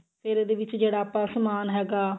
ਫਿਰ ਇਹਦੇ ਵਿੱਚ ਜਿਹੜਾ ਆਪਾਂ ਸਮਾਨ ਹੈਗਾ